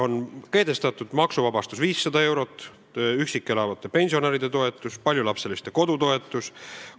On kehtestatud maksuvabastus 500 eurot, üksi elavate pensionäride toetus, paljulapseliste perede toetus.